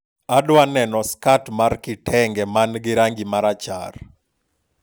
adwaro neno skat mar kitenge man gi rangi marachar